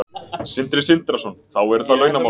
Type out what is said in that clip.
Sindri Sindrason: Þá eru það launamálin?